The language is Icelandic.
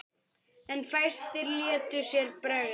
En fæstir létu sér bregða.